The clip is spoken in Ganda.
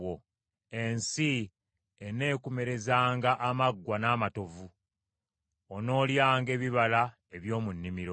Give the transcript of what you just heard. Ensi eneekumerezanga amaggwa n’amatovu, onoolyanga ebibala eby’omu nnimiro.